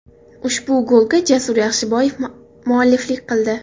Ushbu golga Jasur Yaxshiboyev mualliflik qildi.